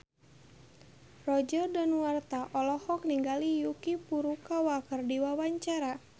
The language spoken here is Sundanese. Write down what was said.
Roger Danuarta olohok ningali Yuki Furukawa keur diwawancara